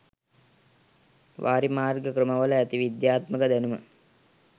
වාරිමාර්ග ක්‍රමවල ඇති විද්‍යාත්මක දැනුම